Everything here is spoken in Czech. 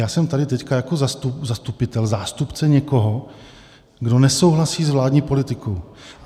Já jsem tady teď jako zastupitel, zástupce někoho, kdo nesouhlasí s vládní politikou.